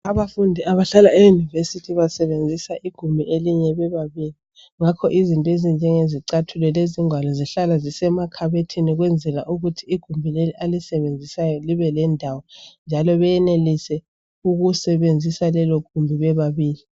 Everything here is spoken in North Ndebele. abafundi abahla ema university basebenzisa igumbi elinye bebabili ngakho izinto ezinjengezicathulo lezingwalo zihlala zisemakhabothini ukwenzela ukuthi igumbi leli alisebenzisayo libe lendawo njalo benelise ukusebenzisa lelogumbi bebabili